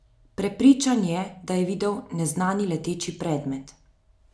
Prepričan je, da je videl neznani leteči predmet.